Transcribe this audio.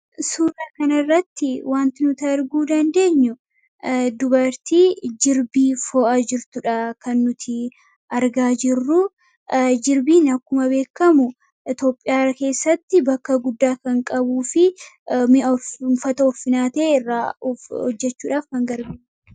Suuraa kana irratti wanti nuti arguu dandeenyu dubartii jirbii foo'a jirtuudha kan nuti argaa jirru. Jirbiin akkuma beekamu Itoophiyaa keessatti bakka guddaa kan qabuu fi mi'a, uffata ulfinaa ta'e irraa hojjechuudhaaf kan gargaaruudha.